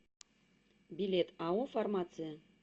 билет ао фармация